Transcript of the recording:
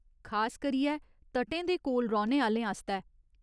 खास करियै तटें दे कोल रौह्‌ने आह्‌लें आस्तै।